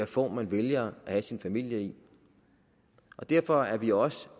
form man vælger at have sin familie i og derfor er vi også